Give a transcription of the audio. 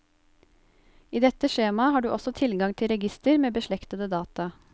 I dette skjemaet har du også tilgang til register med beslektede data.